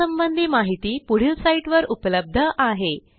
यासंबंधी माहिती पुढील साईटवर उपलब्ध आहे